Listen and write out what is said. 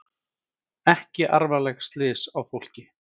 Ekki alvarleg slys á fólki